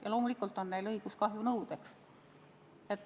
Ja loomulikult on neil õigus kahjunõudeks.